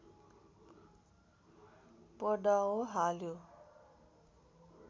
पडाव हाल्यो